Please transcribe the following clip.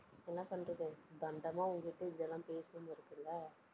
என்ன பண்றது? தண்டமா உங்கிட்ட இப்படியெல்லாம் பேசணும்னு இருக்குல்ல